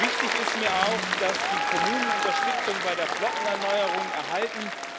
Wichtig ist mir auch, dass die Kommunen Unterstützung bei der Flottenerneuerung erhalten.